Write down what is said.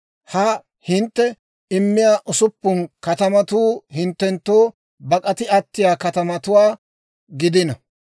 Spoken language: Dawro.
Ha hintte immiyaa usuppun katamatuu hinttenttoo bak'ati attiyaa katamatuwaa gidino.